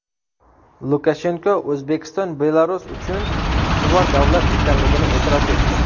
Lukashenko O‘zbekiston Belarus uchun ustuvor davlat ekanligini e’tirof etdi.